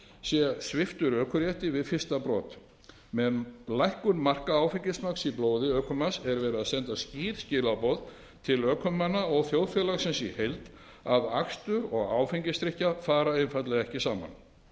verði sviptur ökurétti við fyrsta brot með lækkun marka áfengismagns í blóði ökumanns eru send skýr skilaboð til ökumanna og þjóðfélagsins í heild um að akstur og áfengisdrykkja fari einfaldlega ekki saman